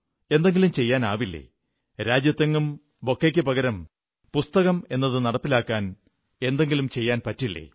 എന്തെങ്കിലും ചെയ്യാനാവില്ലേ രാജ്യത്തെങ്ങും ബൊക്കെയ്ക്കു പകരം പുസ്തകമെന്നത് നടപ്പിലാക്കാൻ എന്തെങ്കിലും ചെയ്യാൻ പറ്റില്ലേ